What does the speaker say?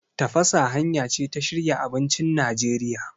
Tafasa hanya ce ta shirya abincin Najeriya.